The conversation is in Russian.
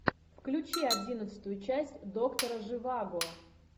включи одиннадцатую часть доктора живаго